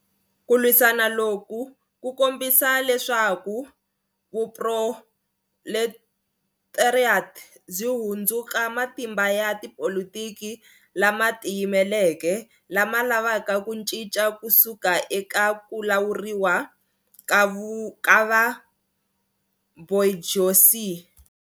Ku lwisana loku ku kombisa leswaku vuproletariat byi hundzuka matimba ya tipolitiki lama tiyimeleke, lama lavaka ku cinca ku suka eka ku lawuriwa ka va-bourgeoisie.